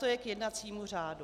To je k jednacímu řádu.